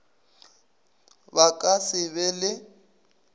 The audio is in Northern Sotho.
ba ka se be le